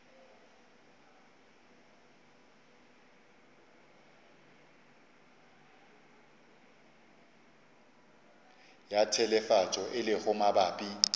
ya telefatšo e lego mabapi